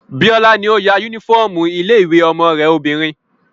Bíọ́lá ló ya yúnífọ́ọ̀mù ilé-ìwé ọmọ rẹ obìnrin